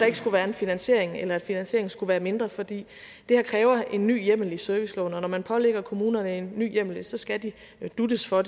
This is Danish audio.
ikke skulle være en finansiering eller at finansieringen skulle være mindre for det her kræver en ny hjemmel i serviceloven og når man pålægger kommunerne en ny hjemmel så skal de dutes for